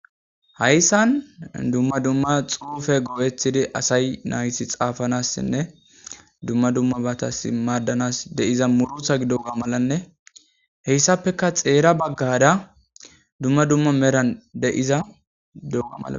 Hayisan duma duma xupe go'etidi asay nayiti xapanasinee duma dumabatas de'iza muruta gidoga malanee hesapeka xera bagara duma duma medha deoga malates